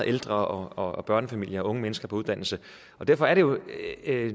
ældre og børnefamilier og unge mennesker på uddannelse derfor er det jo